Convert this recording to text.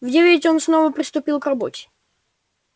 в девять он снова приступил к работе